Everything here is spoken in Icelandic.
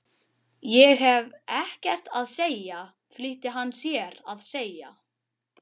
Spýttist blóð úr búknum en vall úr höfðinu.